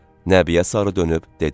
Nəbiyə sarı dönüb dedi: